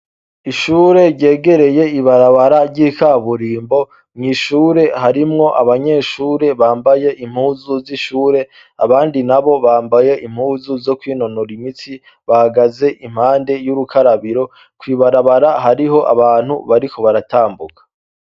ishure ryegereye ibarabara ry'ikaburimbo mw' ishure harimwo abanyeshure bambaye impuzu z'ishure abandi nabo bambaye impuzu zo kwinonora imitsi bahagaze impande y'ubukarabiro kwibarabara hariho abantu bariko baratambuka